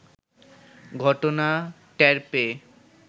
ঘটনা টের পেয়ে